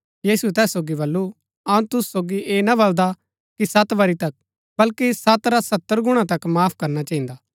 यीशुऐ तैस सोगी बल्लू अऊँ तुसु सोगी ऐह ना बलदा कि सत बरी तक बल्कि सत रा सत्तर गुणा तक माफ करना चहिन्दा